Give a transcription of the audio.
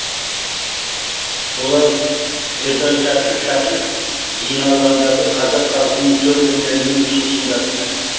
олар жырдан шашу шашып жиналғандарды қазақ халқының төл өнерімен сусындатты